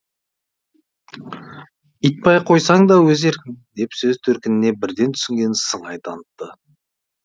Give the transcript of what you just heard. итбай қойсаң да өз еркің деп сөз төркініне бірден түсінген сыңай танытты